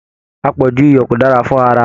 Apọju iyọ ko dára fún ará.